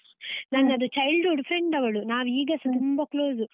ನನ್ನದು childhood friend ಅವಳು, ನಾವಿಗಸ ತುಂಬ close .